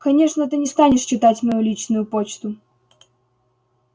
конечно ты не станешь читать мою личную почту